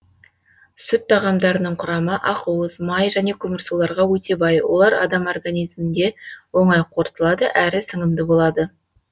сүт тағамдарының құрамы ақуыз май және көмірсуларға өте бай олар адам организмінде оңай қорытылады әрі сіңімді болады